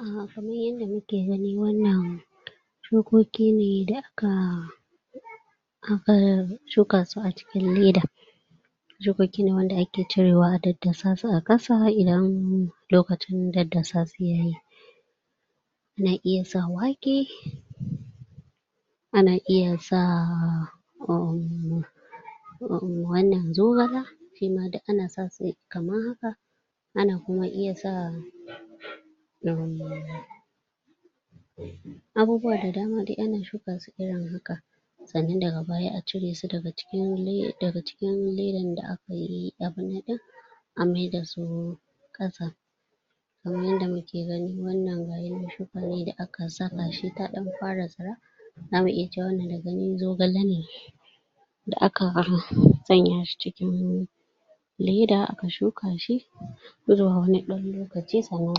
um Kamar yadda muke gani wannan shukoki ne da aka shuka su a cikin leda, shukoki ne wanda ake cirewa a daddasa su a ƙasa idan lokacin daddasa su ya yi. Ana iya sa wake, ana iya sa um wannan zogale shima duk ana sa su amma fa ana kuma iya sa um abubuwa da dama duk ana shuka su irin haka. Sannan daga baya a cire su daga cikin ledan da aka yi abubuwan ɗin a maida su. Kamar yadda muke gani wannan wani shuka ne da aka saka shi ta ɗan fara tsira. Za mu iya cewa wannan daga gani zogale ne da aka sanya shi cikin leda aka shuka shi zuwa wani ɗan lokaci sannan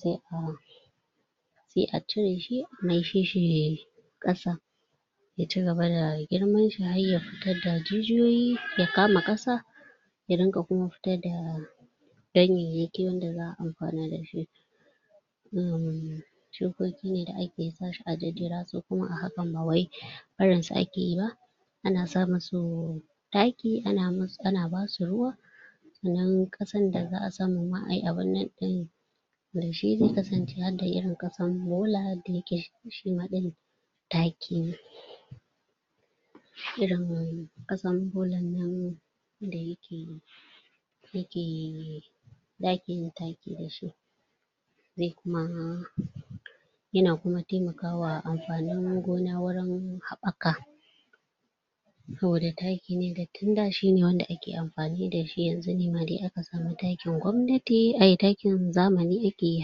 sai a cire shi a maishe shi ƙasa ya cigaba da girman shi, har ya fitar da jijiyoyi ya kama ƙasa ya riƙa kuma fitar da ganyayyaki wanda za a amfana da shi. um Shukoki ne da ake sa shi a jijjira su kuma a hakan ma bai barin su ake ba. Ana sa musu taki, ana basu ruwa sannan ƙasan da za a samu ma ayi abubuwan ɗin da shine ya kasance har da ƙasan bola da yake cushewa, ɗinnan taki ne. Irin ƙasan bolan nan da yake riƙe da ake yin taki da shi sai kuma yana kuma taimakawa amfanin gona wurin haɓaka saboda taki ne. Wanda tunda shine ake amfani da shi yanzu ne ma da aka samu takin gwamnati, takin zamani ake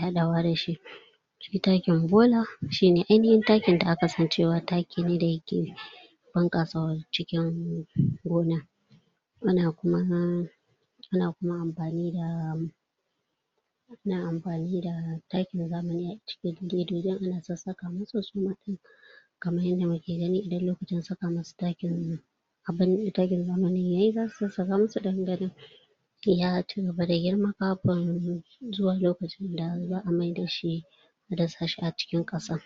haɗawa da shi. Shi takin gona shine ainihin takin da aka sani cewa taki ne da yake bunƙasa cikin gona. Ana kuma amfani da takin zamani a cikin ledojin ana sassaka musu suma ɗin kamar yadda muke gani idan lokacin saka musu taki ya yi. Abinda takin zamani yayi zasu sassaka musu don ganin ya cigaba da girma kafin zuwan lokacin da za a maida shi a dasa shi a cikin ƙasa.